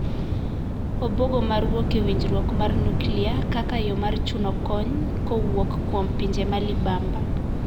Obuogo mar wuok e winjruok mar nuklia kaka yo mar chuno kony kowuok kuom pinje ma libamba.